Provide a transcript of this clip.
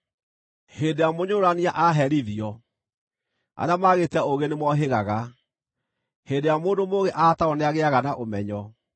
Hĩndĩ ĩrĩa mũnyũrũrania aaherithio, arĩa maagĩte ũũgĩ nĩmohĩgaga; hĩndĩ ĩrĩa mũndũ mũũgĩ aataarwo nĩagĩĩaga na ũmenyo.